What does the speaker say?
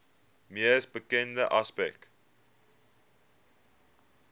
mees bekende aspek